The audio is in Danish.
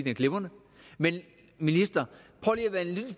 er glimrende men ministeren